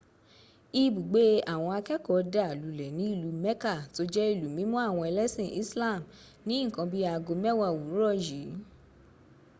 ibùgbé àwọn akẹ́ẹ̀kọ́ dà lulẹ̀ ní ìlú mecca tó jẹ́ ìlú mímọ́ àwọn ẹlẹ́sìn islam ní nǹkan bí i aago mẹ́wàá òwúrọ̀ yìí